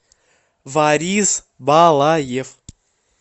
борис балаев